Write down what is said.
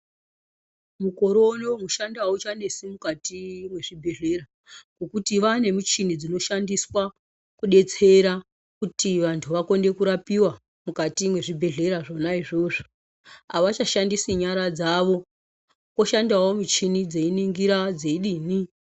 Mukore uno mushando auchanesi mukati mwezvibhehlera ngokuti vaane michini dzinoshandiswa kudetsera kuti vanhu vakone kurapiwa mukati mwezvibhehlera zvona izvozvo avachashandisi nyara dzawo kwoshandawo michini dzeiningira dzeidini.